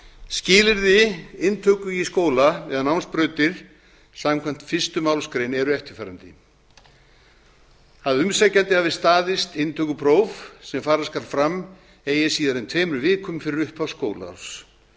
skilyrði inntöku í skóla eða námsbrautir samkvæmt fyrstu málsgrein eru eftirfarandi a að umsækjandi hafi staðist inntökupróf sem fara skal fram eigi síðar en tveimur vikum fyrir upphaf skólaárs